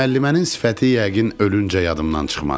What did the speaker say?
Müəllimənin sifəti yəqin ölüncə yadımdan çıxmaz.